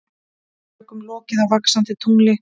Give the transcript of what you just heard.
Tökum lokið á Vaxandi tungli